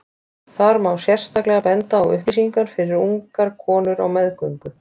Þar má sérstaklega benda á upplýsingar fyrir ungar konur á meðgöngu.